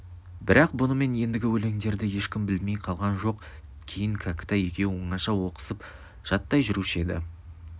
бірақ бұнымен ендігі өлеңдерді ешкім білмей қалған жоқ кейін кәкітай екеуі оңаша оқысып жаттай жүруші еді